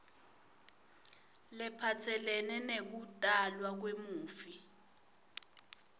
lephatselene nekutalwa kwemufi